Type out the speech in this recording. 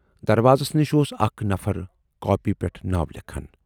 دروازس نِش اوس اکھ نفر کاپی پٮ۪ٹھ ناو لیکھان۔